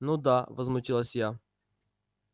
ну да возмутилась я